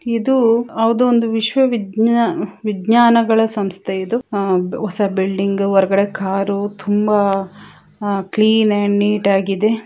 ಇದು ಹೌದು ಒಂದು ವಿಶ್ವ ವಿಜ್ಞಾನ-ವಿಜ್ಞಾನಗಳ ಸಂಸ್ಥೆ ಇದು. ಆಹ್ ಹೊಸ ಬಿಲ್ಡಿಂಗ್ ಹೊರಗಡೆ ಕಾರು ತುಂಬಾ ಕ್ಲಿನ್ ಅಂಡ್ ನೀಟಾಗಿದೆ